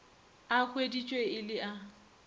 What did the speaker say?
a hweditšwe e le a